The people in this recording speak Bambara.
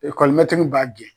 EKɔlɔmɛtiri b'a gɛn